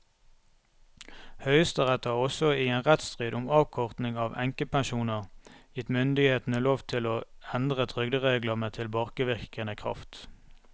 Høyesterett har også i en rettsstrid om avkorting av enkepensjoner gitt myndighetene lov til å endre trygderegler med tilbakevirkende kraft.